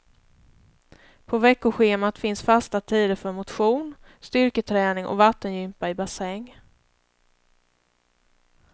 På veckoschemat finns fasta tider för motion, styrketräning och vattengympa i bassäng.